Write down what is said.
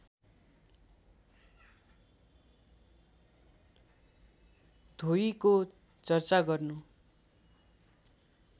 धोयीको चर्चा गर्नु